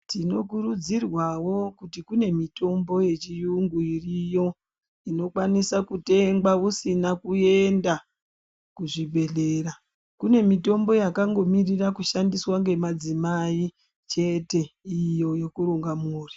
Tinokurudzirwa wo kune mitombo yechiyungu iriyo inokwanisa kutenga usina kuenda kuzvibhedhlera kune mutombo yakangomirura kushandiswa nemadzimai chete iyo yekuronga mhuri.